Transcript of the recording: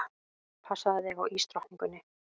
Passaðu þig á ísdrottningunni.